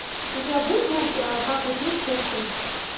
у тебя будет мульт батл крик часть три